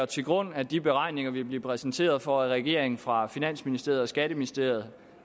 til grund at de beregninger vi bliver præsenteret for af regeringen fra finansministeriet og skatteministeriet